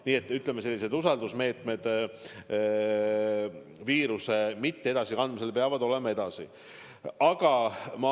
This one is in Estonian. Nii et selleks, et viirust mitte edasi kanda, tuleb usaldusmeetmeid edasi rakendada.